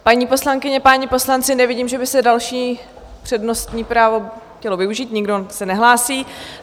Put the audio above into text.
Paní poslankyně, páni poslanci, nevidím, že by se další přednostní právo chtělo využít, nikdo se nehlásí.